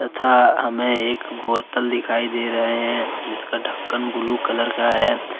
था हमें एक बोतल दिखाई दे रहे हैं जिसका ढक्कन ब्लू कलर का है।